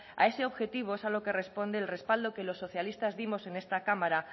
a ese objetivo es a lo que responde el respaldo que los socialistas dimos en esta cámara